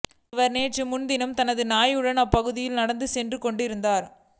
இவர் நேற்று முன்தினம் தனது நாயுடன் அப்பகுதியில் நடந்து சென்று கொண்டிருந்தார்